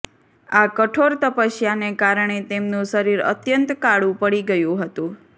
આ કઠોર તપસ્યાને કારણે તેમનું શરીર અત્યંત કાળુ પડી ગયુ હતુ